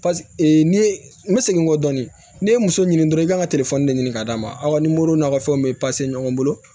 ne ye n segin kɔ dɔɔni n'i ye muso ɲini dɔrɔn i kan ka de ɲini ka d'a ma aw ni n'aw ka fɛnw bɛ ɲɔgɔn bolo